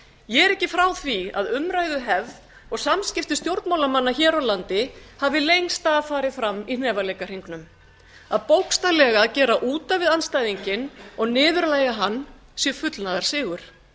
ég er ekki frá því að umræðuhefð og samskipti stjórnmálamanna hér á landi hafi lengst af farið fram í hnefaleikahringnum að bókstaflega gera út af við andstæðinginn og niðurlægja hann sé fullnaðarsigur